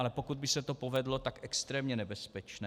Ale pokud by se to povedlo, tak extrémně nebezpečné.